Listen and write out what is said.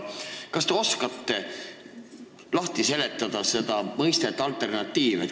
Kas te oskate alternatiivi mõistet lahti seletada?